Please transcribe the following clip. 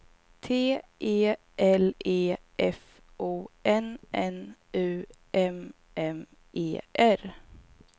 T E L E F O N N U M M E R